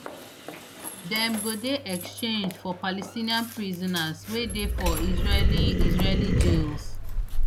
dem go dey exchanged for palestinian prisoners wey dey for israeli israeli jails